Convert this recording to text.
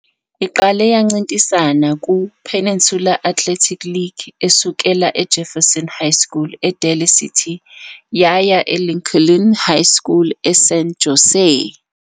Iqale yancintisana kuPeninsula Athletic League, esukela eJefferson High School eDaly City yaya eLincoln High School eSan Jose.